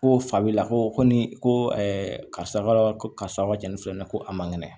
Ko fabila ko kɔ ni ko karisa ka jɛn ni filɛ nin ye ko a man kɛnɛ